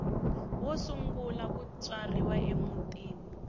wo sungula ku tswariwa emutini